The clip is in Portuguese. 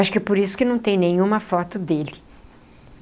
Acho que é por isso que não tem nenhuma foto dele.